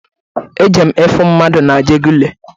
Ejere m ifu mmadụ na-ajegunle.